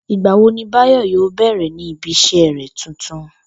Ìgbà wo ni Báyò̩ yóò bè̩rè̩ ní ibi is̩é̩ rè̩ tuntun?